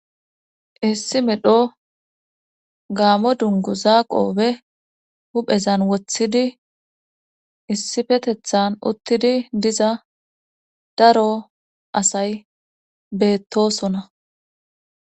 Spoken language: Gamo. issi medho gaamo dungguza qoobe huphezan wothidi issifetethan uttidi diza daro asay beettosona.